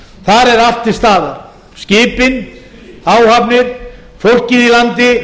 þar er allt til staðar skipin áhafnir fólkið í landi